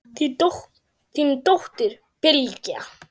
Þín dóttir, Bylgja.